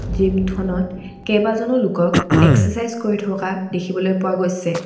জিমখনত কেইবাজনো লোকক এক্সেচাইজ কৰি থকা দেখিবলৈ পোৱা গৈছে।